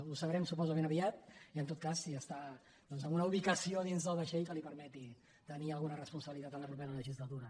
ho sabrem suposo força aviat en tot cas si està en una ubicació dins del vaixell que li permeti tenir alguna responsabilitat en la propera legislatura